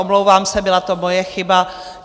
Omlouvám se, byla to moje chyba.